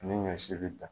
Ni ɲɔ si be ta